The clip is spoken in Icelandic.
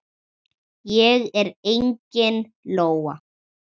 Ég er engin lóa.